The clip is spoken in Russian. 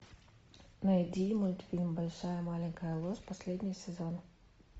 найди мультфильм большая маленькая ложь последний сезон